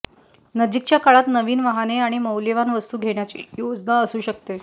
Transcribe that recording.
नजीकच्या काळात नवीन वाहने आणि मौल्यवान वस्तू घेण्याची योजना असू शकते